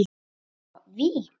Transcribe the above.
Skot: Vík.